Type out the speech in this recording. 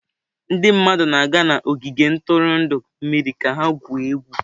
Ndị mmadụ na-aga n'ogige ntụrụndụ mmiri ka ha gwuo egwu.